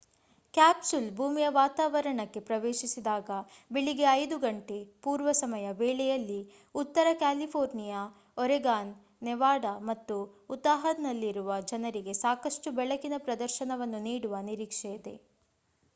capsule ಭೂಮಿಯ ವಾತಾವರಣಕ್ಕೆ ಪ್ರವೇಶಿಸಿದಾಗ ಬೆಳಿಗ್ಗೆ 5 ಗಂಟೆ ಪೂರ್ವ ಸಮಯ ವೇಳೆಯಲ್ಲಿ ಉತ್ತರ ಕ್ಯಾಲಿಫೋರ್ನಿಯಾ ಒರೆಗಾನ್ ನೆವಾಡಾ ಮತ್ತು ಉತಾಹ್‌ನಲ್ಲಿರುವ ಜನರಿಗೆ ಸಾಕಷ್ಟು ಬೆಳಕಿನ ಪ್ರದರ್ಶನವನ್ನು ನೀಡುವ ನಿರೀಕ್ಷೆಯಿದೆ